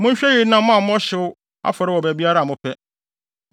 Monhwɛ yiye na moammɔ mo hyew afɔre wɔ baabiara a mopɛ.